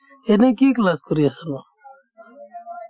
এনে কি class কৰি আছ?